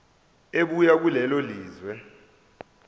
ebuya kulelo lizwe